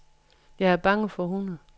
Jeg er bange for hunde.